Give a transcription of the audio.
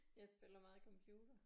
Jeg spiller meget computer